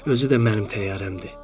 Özü də mənim təyyarəmdir.